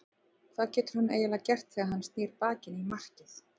Hvað getur hann eiginlega gert þegar að hann snýr baki í markið?